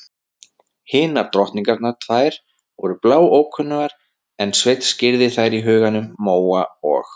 Hinar drottningarnar tvær voru bláókunnugar en Sveinn skírði þær í huganum: Móa og